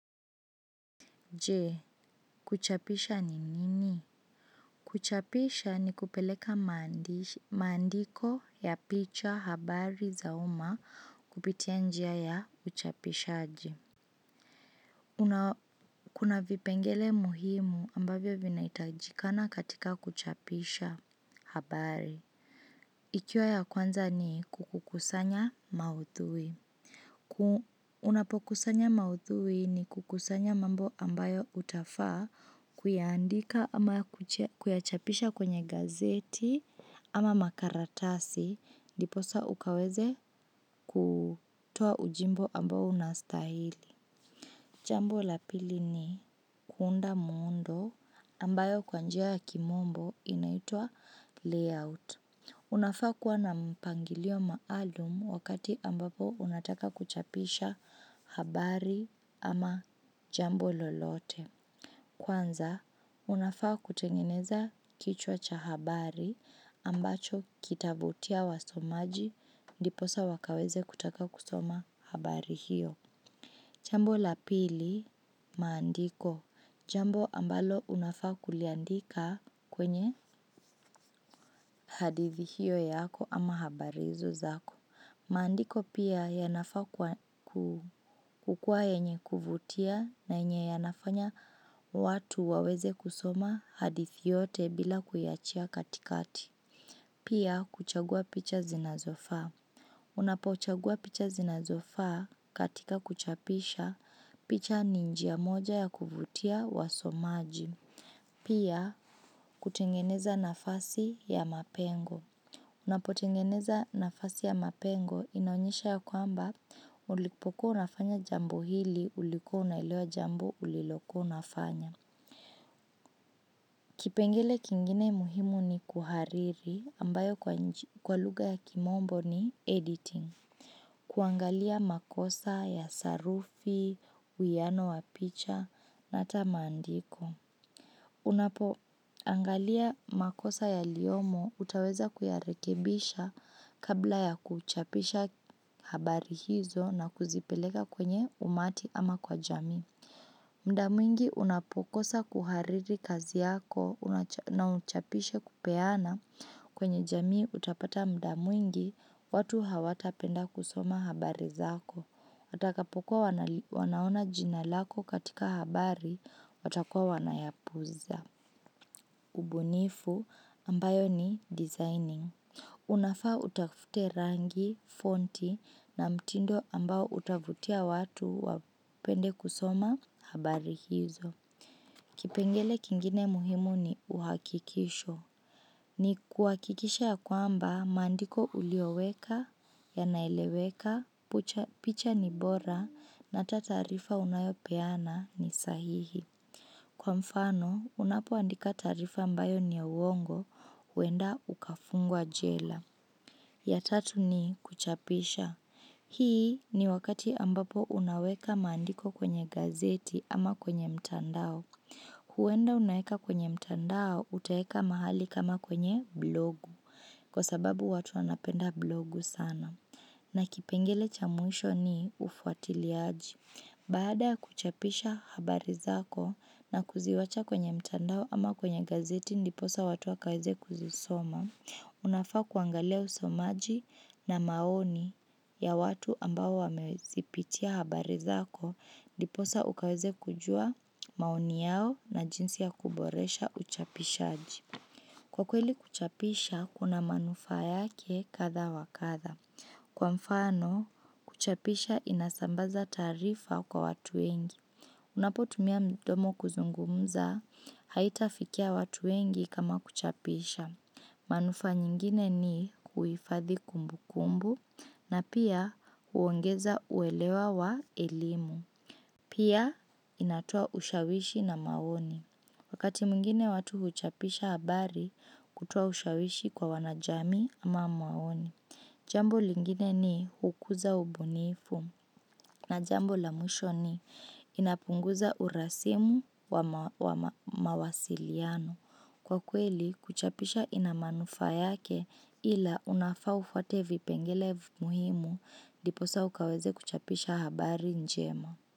Je, kuchapisha ni nini? Kuchapisha ni kupeleka maandiko ya picha habari za uma kupitia njia ya uchapishaji. Kuna vipengele muhimu ambavyo vinahitajikana katika kuchapisha habari. Ikiwa ya kwanza ni kukukusanya maudhui. Unapokusanya maudhui ni kukusanya mambo ambayo utafaa kuyaandika. Jambo la pili ni kuunda muundo ambao kwa njia ya kimombo inaitua layout. Unafaa kuwa na mpangilio maalum wakati ambapo unataka kuchapisha habari ama jambo lolote. Kwanza, unafaa kutengeneza kichwa cha habari ambacho kitavutia wasomaji ndiposa wakaweze kutaka kusoma habari hiyo. Jambo la pili, maandiko. Jambo ambalo unafaa kuliandika kwenye hadithi hiyo yako ama habari hizo zako. Maandiko pia yanafaa kukuwa yenye kuvutia na yenye yanafanya watu waweze kusoma hadithi yote bila kuiachia katikati. Pia, kuchagua picha zinazofaa. Unapo chagua picha zinazofaa katika kuchapisha picha ni njia moja ya kuvutia wasomaji. Pia kutengeneza nafasi ya mapengo. Unapo tengeneza nafasi ya mapengo inaonyesha ya kwamba ulikupokuwa unafanya jambo hili ulikuwa unaelewa jambo ulilokua unafanya. Kipengele kingine muhimu ni kuhariri ambayo kwa lugha ya kimombo ni editing. Kuangalia makosa ya sarufi, uwiano wa picha na hata maandiko. Unapoangalia makosa yaliyomo utaweza kuyarekebisha kabla ya kuchapisha habari hizo na kuzipeleka kwenye umati ama kwa jamii. Muda mwingi unapokosa kuhariri kazi yako na uchapishe kupeana kwenye jamii utapata muda mwingi, watu hawatapenda kusoma habari zako. Watakapokuwa wanaona jina lako katika habari, watakuwa wanaiepuka. Ubunifu ambayo ni designing. Unafaa utafute rangi, fonti na mtindo ambao utavutia watu wapende kusoma habari hizo. Kipengele kingine muhimu ni uhakikisho. Ni kuhakikisha ya kwamba maandiko uliyoweka, yanaeleweka, picha ni bora na taarifa unayopeana ni sahihi. Kwa mfano, unapoandika taarifa ambayo ni ya uongo, huenda ukafungwa jela. Ya tatu ni kuchapisha. Hii ni wakati ambapo unaweka maandiko kwenye gazeti ama kwenye mtandao. Huenda unaeka kwenye mtandao, utaeka mahali kama kwenye blogu. Kwa sababu watu wanapenda blogu sana. Na kipengele cha mwisho ni ufuatiliaji. Baada kuchapisha habari zako na kuziwacha kwenye mtandao ama kwenye gazeti ndiposa watu wakaweze kuzisoma. Unafaa kuangalia usomaji na maoni ya watu ambao wamezipitia habari zako ndiposa ukaweze kujua maoni yao na jinsi ya kuboresha uchapishaji. Kwa kweli kuchapisha, kuna manufaa yake kadhaa wa kadhaa. Kwa mfano, kuchapisha inasambaza taarifa kwa watu wengi unapotumia mdomo kuzungunza haitafikia watu wengi kama kuchapisha. Manufaa nyingine ni huifadhi kumbukumbu na pia huongeza uelewa wa elimu. Pia inatoa ushawishi na maoni. Wakati mingine watu huchapisha habari kutoa ushawishi kwa wana jamii ama maoni. Jambo lingine ni hukuza ubunifu na jambo la mwisho ni inapunguza urasimu wa mawasiliano. Kwa kweli, kuchapisha ina manufaa yake ila unafaa ufuate vipengele muhimu ndiposa ukaweze kuchapisha habari njema.